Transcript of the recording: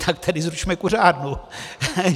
Tak tady zrušme kuřárnu.